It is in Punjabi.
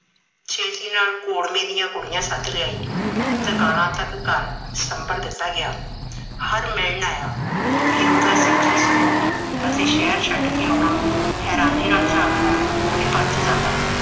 ਛੇਤੀ ਨਾਲ ਕੋੜਮੇ ਦੀਆਂ ਕੁੜੀਆਂ ਸੱਦ ਲਿਆਈ। ਤਿਰਕਾਲਾ ਤੱਕ ਘਰ ਸੰਭਰ ਦਿੱਤਾ ਗਿਆ। ਹਰ ਮਿਲਣ ਆਇਆ ਵੀਰੂ ਦਾ ਸਿੱਖੀ ਸਰੂਪ ਅਤੇ ਸ਼ਹਿਰ ਛੱਡ ਕੇ ਆਉਣਾ, ਹੈਰਾਨੀ ਨਾਲ ਝਾਕਦਾ ਤੇ ਪਰਤ ਜਾਂਦਾ।